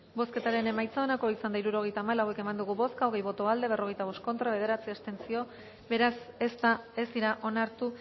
bozketaren emaitza onako izan da hirurogeita hamalau